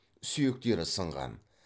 сүйектері сынған